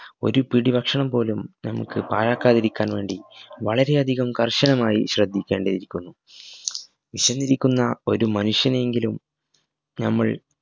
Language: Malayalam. ഒരു പിടി ഭക്ഷണം പോലും നമുക് പാഴാക്കാതിരിക്കാൻ വേണ്ടി വളരെയധികം കർശനമായി ശ്രദ്ധിക്കേണ്ടയിരിക്കുന്നു വിശന്നിരിക്കുന്ന ഒരു മനുഷ്യനെയെങ്കിലും ഞമ്മൾ